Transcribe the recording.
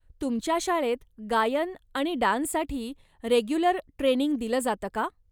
तुमच्या शाळेत गायन आणि डान्ससाठी रेग्युलर ट्रेनिंग दिलं जातं का?